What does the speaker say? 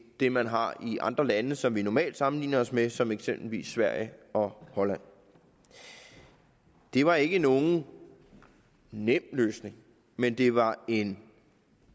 det man har i andre lande som vi normalt sammenligner os med som eksempelvis sverige og holland det var ikke nogen nem løsning men det var en